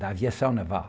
da aviação naval.